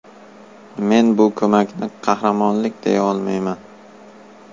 Men bu ko‘makni qahramonlik deya olmayman.